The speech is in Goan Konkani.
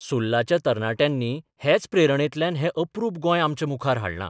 सुरलच्या तरणाट्यांनी हेच प्रेरणेंतल्यान हें अप्रूप गोंय आमच्या मुखार हाडलां.